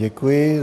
Děkuji.